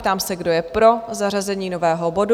Ptám se, kdo je pro zařazení nového bodu?